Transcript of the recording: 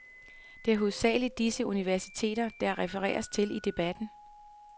Det er hovedsagelig disse universiteter, der refereres til i debatten.